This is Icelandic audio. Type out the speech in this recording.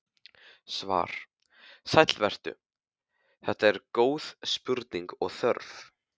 Svar: Sæll vertu, þetta eru góð spurning og þörf.